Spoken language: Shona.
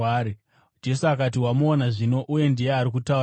Jesu akati, “Wamuona zvino; uye ndiye ari kutaura newe.”